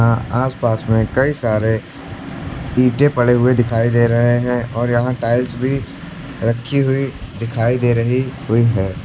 अं आसपास में कई सारे ईंटे पड़े हुए दिखाई दे रहे हैं और यहां टाइल्स भी रखी हुई दिखाई दे रही हुई है।